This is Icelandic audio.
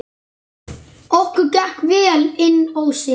Okkur gekk vel inn ósinn.